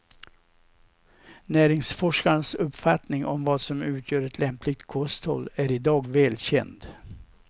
Näringsforskarnas uppfattning om vad som utgör ett lämpligt kosthåll är idag väl känd.